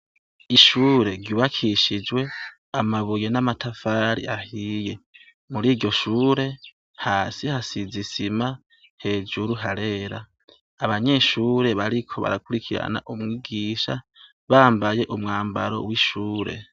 Ishure ryubakishijwe amabuye n'amatafari ahiye, muri iryo shure hasi hasize isima hejuru harera, abanyeshure bariko barakurikirana umwigisha bambaye umwambaro w'ishure.